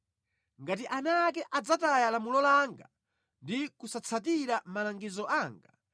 “Ngati ana ake adzataya lamulo langa ndi kusatsatira malangizo anga,